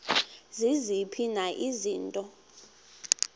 ziziphi na izinto